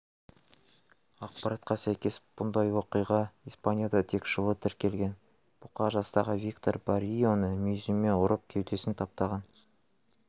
ақпаратқа сәйкес бұндай оқиға испанияда тек жылы тіркелген бұқа жастағы виктор баррионы мүйізімен ұрып кеудесін таптаған